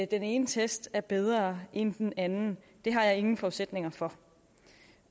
den ene test er bedre end den anden det har jeg ingen forudsætninger for